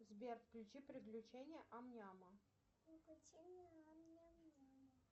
сбер включи приключения ам няма